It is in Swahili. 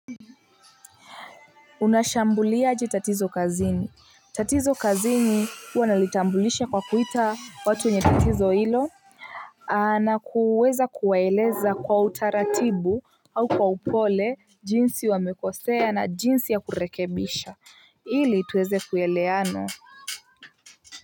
Unashambulia aje tatizo kazini, tatizo kazini wanalitambulisha kwa kuita watu wenye tatizo ilo. Ana kuweza kuwaeleza kwa utaratibu au kwa upole jinsi wamekosea na jinsi ya kurekebisha ili tuweze kueleana.